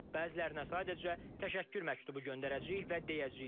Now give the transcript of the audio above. Bəzilərinə sadəcə təşəkkür məktubu göndərəcəyik və deyəcəyik: